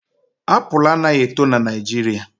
Apụl anaghị eto n'Naijiria